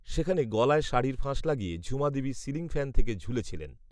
সেখানে গলায় শাড়ির ফাঁস লাগিয়ে ঝুমাদেবী সিলিং ফ্যান থেকে ঝুলে ছিলেন